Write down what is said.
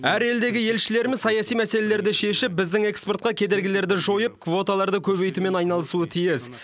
әр елдегі елшілеріміз саяси мәселелерді шешіп біздің экспортқа кедергілерді жойып квоталарды көбейтумен айналысуы тиіс